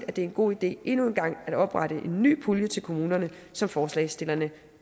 at det er en god idé endnu en gang at oprette en ny pulje til kommunerne som forslagsstillerne